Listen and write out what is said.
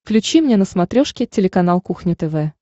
включи мне на смотрешке телеканал кухня тв